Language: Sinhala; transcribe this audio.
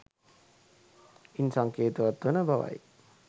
ඉන් සංකේතවත් වන බවයි